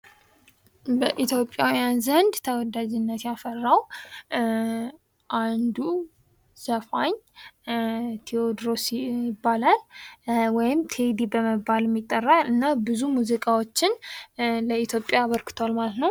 በኢትዮጵያውያን ዘንድ ተወዳጅነት ያፈራው አንዱ ዘፋኝ ቴዎድሮስ ይባላል። ወይም ቴዲ በመባልም ይጠራል። እና ብዙ ሙዚቃዎችን ለኢትዮጵያ አበርክቷል ማለት ነው።